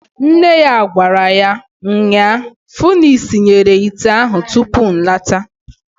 Nne ya gwara ya nnyaa, "Fu na isinyere ite ahụ tupu nlata."